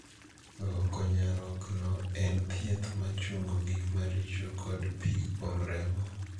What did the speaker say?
Luoko nyarogno en thieth ma chungo gik maricho kod pii kuom remo.